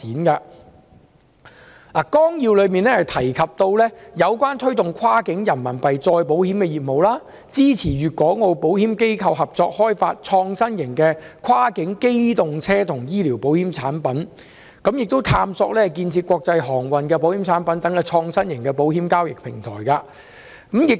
《規劃綱要》提到，推動內地與香港、澳門保險機構開展跨境人民幣再保險業務、支持粵港澳保險機構合作開發創新型的跨境機動車保險和跨境醫療保險產品，並探索建設國際航運保險產品等創新型保險交易平台。